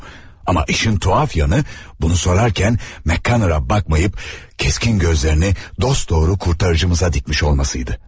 Amma işin tuhaf yanı, bunu sorarken McConnora baxmayıp keskin gözlerini dosdoğru kurtarıcımıza dikmiş olmasıydı.